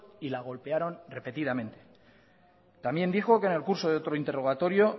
y la golpearon repetidamente también dijo que en el curso de otro interrogatorio